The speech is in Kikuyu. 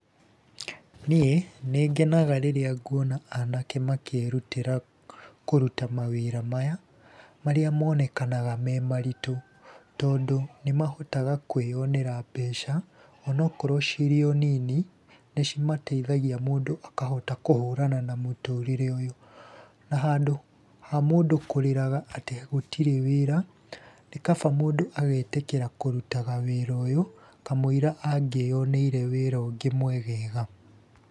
Niĩ nĩngenaga rĩrĩa nguona anake makĩĩrutĩra kũruta mawĩra maya, marĩa monekanaga me maritũ. Tondũ nĩ mahotaga kwĩyonera mbeca, onokorwo cirĩ o nini nĩ cimateithagia mũndũ akahota kũhũrana na mũtũrĩre ũyũ. Na handũ ha mũndũ kũrĩraga atĩ gũtirĩ wĩra, nĩ kaba mũndũ agetĩkĩra kũrutaga wĩra ũyũ kamũira angĩyoneire wĩra ũngĩ mwegega.